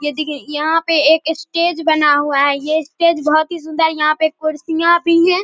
ये देखिए यहां पे एक स्टेज बना हुआ है ये स्टेज बहुत ही सुंदर है यहां पे कुर्सियां भी हैं।